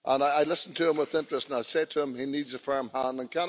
I listened to him with interest, and I say to him he needs a firm hand.